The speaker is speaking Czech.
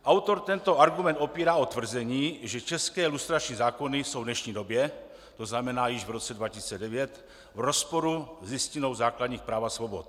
Autor tento argument opírá o tvrzení, že české lustrační zákony jsou v dnešní době, to znamená již v roce 2009, v rozporu s Listinou základních práv a svobod.